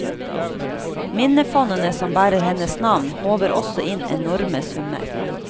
Minnefondene som bærer hennes navn håver også inn enorme summer.